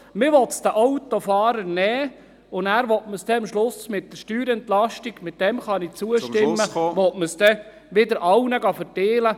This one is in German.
Man will es den Autofahrern nehmen, und nachher will man es am Schluss mit der Steuerentlastung – dem kann ich zustimmen – wieder an alle verteilen.